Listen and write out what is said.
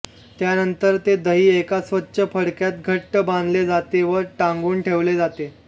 त्यानंतर ते दही एका स्वच्छ फडक्यात घट्ट बांधले जाते व टांगून ठेवले जाते